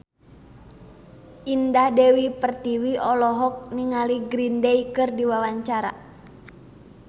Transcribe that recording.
Indah Dewi Pertiwi olohok ningali Green Day keur diwawancara